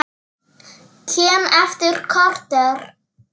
Kem eftir korter!